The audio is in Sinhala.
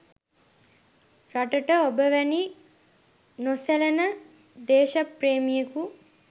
රටට ඔබ වැනි නොසැලෙන දේශප්‍රේමියෙකු